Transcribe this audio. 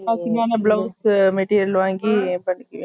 அதான் பின்னாடியே blouse material வாங்கி வச்சுக்கிரியா